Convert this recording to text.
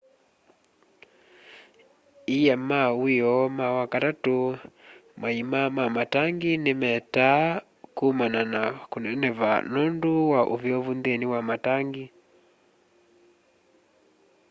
ia ma wioo ma wakatatũ maima ma matangi nĩ metaa kũmana na kũneneva nũndũ wa ũvyũvũ nthĩni wa matangi